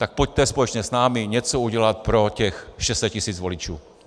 Tak pojďte společně s námi něco udělat pro těch 600 tisíc voličů.